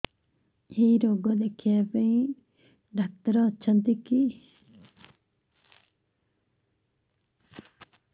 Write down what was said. ଏଇ ରୋଗ ଦେଖିବା ପାଇଁ ଡ଼ାକ୍ତର ଅଛନ୍ତି କି